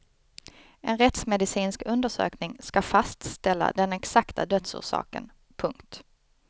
En rättsmedicinsk undersökning ska fastställa den exakta dödsorsaken. punkt